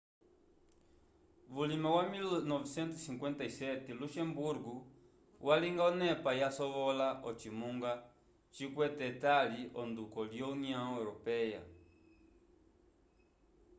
vulima wa 1957 luxembugo yalinga onepa yasovola ocimunga cikwete etali onduko lyo união europeia